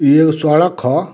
इ एगो सड़क ह।